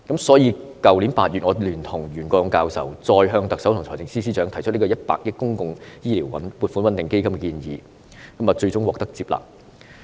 所以，去年8月我聯同袁國勇教授，再向特首及財政司司長提出以100億元成立公共醫療撥款穩定基金的建議，最終獲得接納。